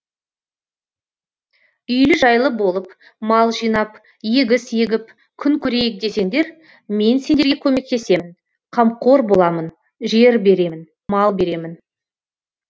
үйлі жайлы болып мал жинап егіс егіп күн көрейік десеңдер мен сендерге көмектесемін камқор боламын жер беремін мал беремін